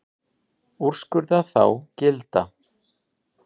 Úrskurða þá gilda.